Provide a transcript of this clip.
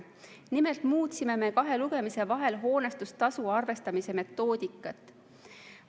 Nimelt muutsime me kahe lugemise vahel hoonestustasu arvestamise metoodikat.